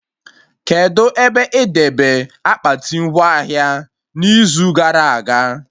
Kedụ ebe ị debe akpati ngwa ahịa n'izu gara aga?